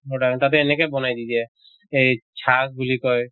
তাতে এনেকে বনাই দি দিয়ে। এই বুলি কয়